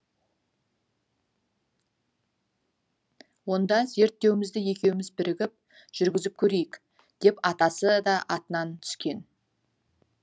онда зерттеуімізді екеуіміз бірігіп жүргізіп көрейік деп атасы да атынан түскен